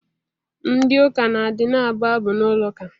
Ndị ụka na-adị na-abụ abụ n'ụlo ụka.